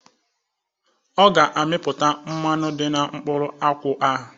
Ọ ga amipụta mmanụ dị na mkpụrụ akwụ ahụ